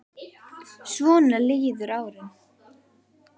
Svona liðu árin.